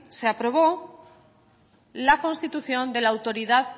se aprobó la constitución de la autoridad